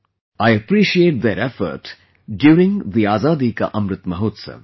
I appreciate their effort during the Azadi Ka Amrit Mahotsav